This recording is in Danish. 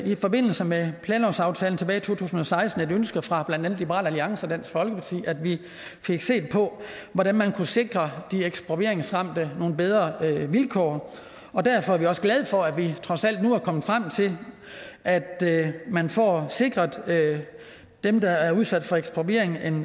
i forbindelse med planlovsaftalen tilbage i to tusind og seksten et ønske fra blandt andet liberal alliance og dansk folkeparti at vi fik set på hvordan man kunne sikre de ekspropriationsramte nogle bedre vilkår derfor er vi også glade for at man trods alt nu er kommet frem til at man får sikret dem der bliver udsat for ekspropriation en